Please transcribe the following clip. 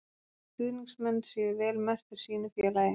Að stuðningsmenn séu vel merktir sínu félagi.